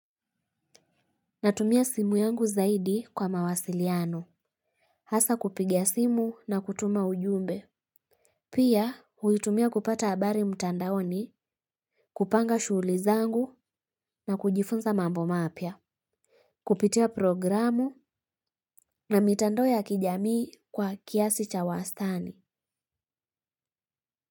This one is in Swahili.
Natumia simu yangu zaidi kwa mawasiliano. Hasa kupiga simu na kutuma ujumbe. Pia, huitumia kupata abari mtandaoni, kupanga shuhuli zangu na kujifunza mambo mapya. Kupitia programu na mitandao ya kijamii kwa kiasi cha wastani.